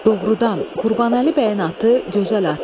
Doğrudan, Qurbanəli bəyin atı gözəl atı idi.